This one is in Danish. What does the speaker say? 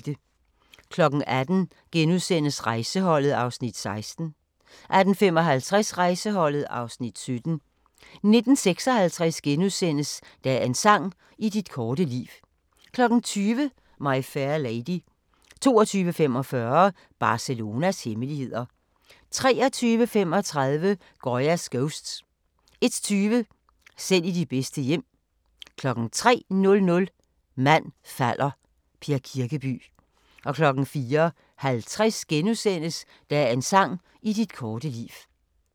18:00: Rejseholdet (Afs. 16)* 18:55: Rejseholdet (Afs. 17) 19:56: Dagens sang: I dit korte liv * 20:00: My Fair Lady 22:45: Barcelonas hemmeligheder 23:35: Goya's Ghosts 01:20: Selv i de bedste hjem 03:00: Mand falder – Per Kirkeby 04:50: Dagens sang: I dit korte liv *